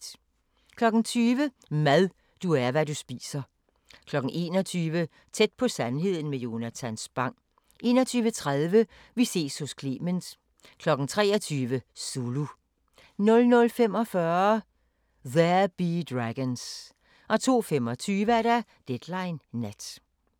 20:00: Mad – du er, hvad du spiser 21:00: Tæt på sandheden med Jonatan Spang 21:30: Vi ses hos Clement 23:00: Zulu 00:45: There Be Dragons 02:25: Deadline Nat